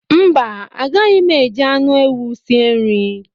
Mba, agaghị m eji anụ ewu sie nri